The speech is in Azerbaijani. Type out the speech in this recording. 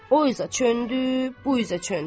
O üzə döndü, bu üzə döndü.